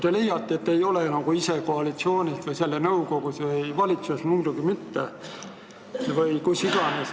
Te ütlesite, et te ise ei ole koalitsioonis või selle nõukogus, muidugi mitte ka valitsuses või kus iganes.